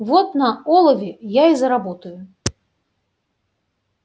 вот на олове я и заработаю